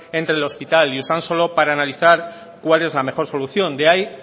entre el hospital y usansolo para analizar cuál es la mejor solución de ahí